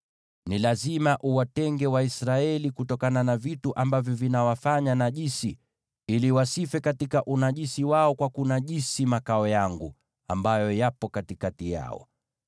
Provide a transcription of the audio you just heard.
“ ‘Ni lazima uwatenge Waisraeli kutokana na vitu ambavyo vinawafanya najisi, ili wasife katika unajisi wao kwa kunajisi makao yangu, ambayo yapo katikati yao.’ ”